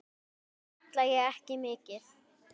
Það kalla ég ekki mikið.